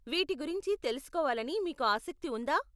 వీటి గురించి తెలుసుకోవాలని మీకు ఆసక్తి ఉందా?